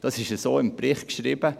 So steht es im Bericht geschrieben.